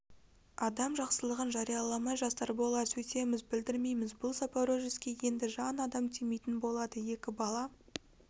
адам жақсылығын жарияламай жасар болар сөйтеміз білдірмейміз бұл запорожецке енді жан адам тимейтін болады екі бала